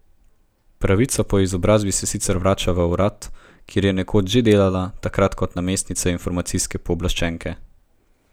Pravnica po izobrazbi se sicer vrača v urad, kjer je nekoč že delala, takrat kot namestnica informacijske pooblaščenke.